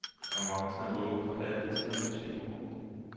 Konkurrencen er åben for alle til og med tyve år.